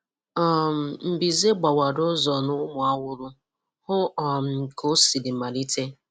um Mbize gbawara ụzọ na Umuawulu. Hụ um ka o siri malite.